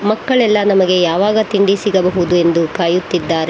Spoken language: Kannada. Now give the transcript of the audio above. ಮಕ್ಕಳೆಲ್ಲ ನಮಗೆ ಯಾವಾಗ ತಿಂಡಿ ಸಿಗಬಹುದು ಎಂದು ಕಾಯುತ್ತಿದ್ದಾರೆ.